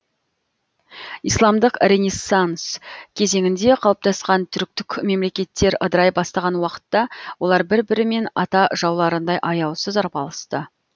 исламдық ренессанс кезеңінде қалыптасқан түріктік мемлекеттер ыдырай бастаған уақытта олар бір бірімен ата жауларындай аяусыз арпалысты